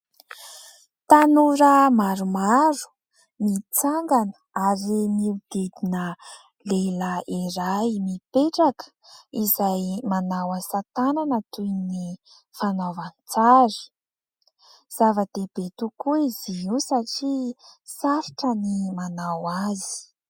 Tanora maromaro mitsangana ary miodidina lehilahy iray mipetraka izay manao asatànana toy ny fanaovan-tsary. Zava-dehibe tokoa izy io satria sarotra ny manao azy.